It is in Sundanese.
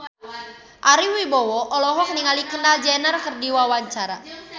Ari Wibowo olohok ningali Kendall Jenner keur diwawancara